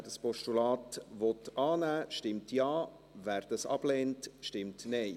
Wer dieses Postulat annehmen will, stimmt Ja, wer dies ablehnt, stimmt Nein.